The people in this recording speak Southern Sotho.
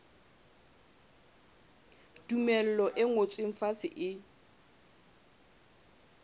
tumello e ngotsweng fatshe e